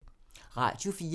Radio 4